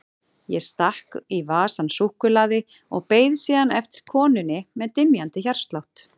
Ég stakk í vasann súkkulaði og beið síðan eftir konunni með dynjandi hjartslátt.